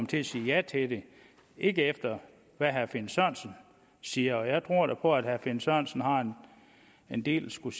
til at sige ja til det ikke efter hvad herre finn sørensen siger og jeg tror da på at herre finn sørensen har en del at skulle